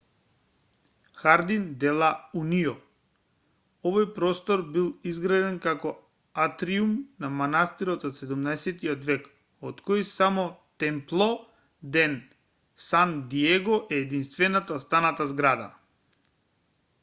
хардин де ла унион овој простор бил изграден како атриум за манастирот од 17-тиот век од кој само темпло де сан диего е единствена останата зграда